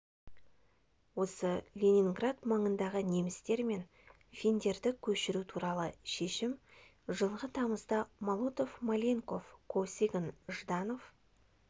осы ленинград маңындағы немістер мен финдерді көшіру туралы шешім жылғы тамызда молотов маленьков косыгин жданов